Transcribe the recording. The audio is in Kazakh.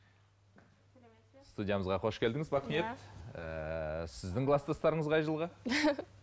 студиямызға қош келдіңіз бақниет сіздің кластастарыңыз қай жылғы